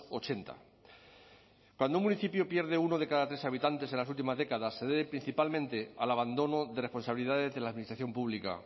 ochenta cuando un municipio pierde uno de cada tres habitantes en las últimas décadas se debe principalmente al abandono de responsabilidades de la administración pública